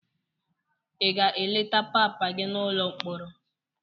Ị ga-eleta papa gị n'ụlọ mkpọrọ?